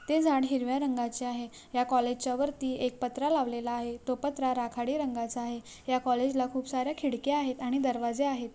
ते झाड हिरव्या रंगाचे आहे या कॉलेज च्या वरती एक पत्रा लावलेला आहे तो पत्रा राखड़ी रंगाचा आहे या कॉलेज ला खूप साऱ्या खिड़क्या आहे आणि दरवाजे आहे.